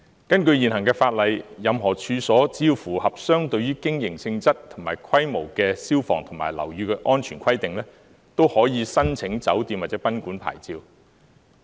根據現行法例，任何處所只要符合相對於經營性質及規模的消防及樓宇安全規定，都可以申請酒店或賓館牌照。